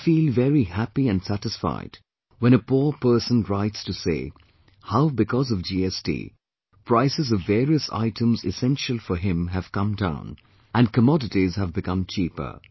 I feel very happy and satisfied when a poor person writes to say how because of GST prices of various items essential for him have come down, and commodities have become cheaper